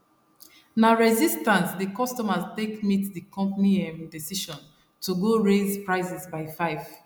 na resistance the consumers take meet the company um decision to go raise prices by 5